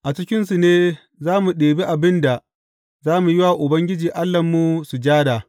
A cikinsu ne za mu ɗibi abin da za mu yi wa Ubangiji Allahnmu sujada.